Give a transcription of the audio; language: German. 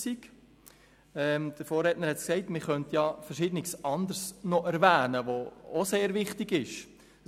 Wie mein Vorredner gesagt hat, könnte man noch verschiedene andere Punkte erwähnen, die ebenfalls sehr wichtig sind.